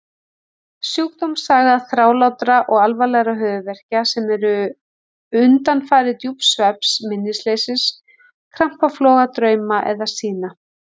Sjúkdómssaga þrálátra og alvarlegra höfuðverkja sem eru undanfari djúps svefns, minnisleysis, krampafloga, drauma eða sýna.